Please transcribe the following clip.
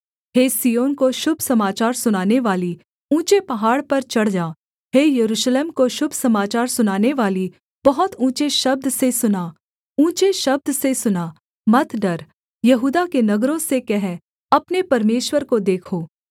हे सिय्योन को शुभ समाचार सुनानेवाली ऊँचे पहाड़ पर चढ़ जा हे यरूशलेम को शुभ समाचार सुनानेवाली बहुत ऊँचे शब्द से सुना ऊँचे शब्द से सुना मत डर यहूदा के नगरों से कह अपने परमेश्वर को देखो